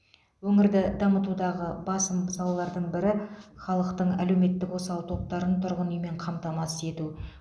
өңірді дамытудағы басым салалардың бірі халықтың әлеуметтік осал топтарын тұрғын үймен қамтамасыз ету